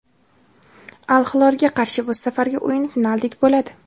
"Al Hilol"ga qarshi bu safargi o‘yin finaldek bo‘ladi".